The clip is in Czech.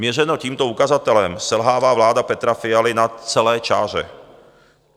Měřeno tímto ukazatelem selhává vláda Petra Fialy na celé čáře.